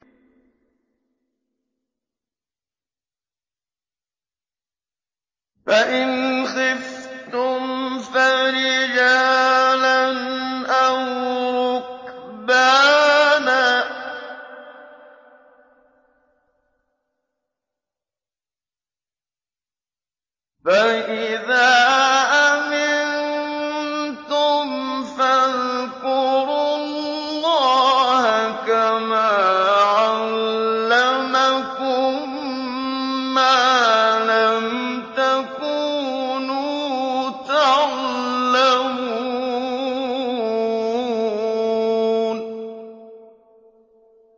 فَإِنْ خِفْتُمْ فَرِجَالًا أَوْ رُكْبَانًا ۖ فَإِذَا أَمِنتُمْ فَاذْكُرُوا اللَّهَ كَمَا عَلَّمَكُم مَّا لَمْ تَكُونُوا تَعْلَمُونَ